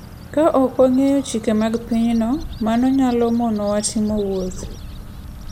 Ka ok wang'eyo chike mag pinyno, mano nyalo monowa timo wuoth.